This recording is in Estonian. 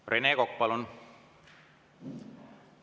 Rene Kokk, palun!